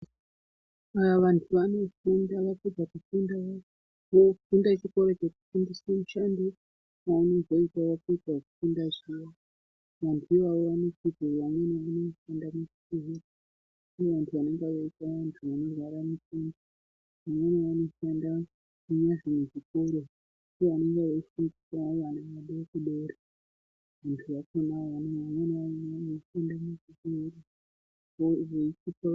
Aaa vantu vanofunda vapedza kufunda, vofunda chikora chekufundiswa mushando zvavanozoita vapedza kufunda zviya vantu ivavo vanofunda muzvikora ndivo vano rapa vantu vanenge veirwara zviya vanozofundisa vana vedu zviya vadoodori vantu vamweni vakona vanofunda munezvevakuru.